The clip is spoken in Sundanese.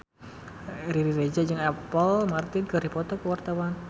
Riri Reza jeung Apple Martin keur dipoto ku wartawan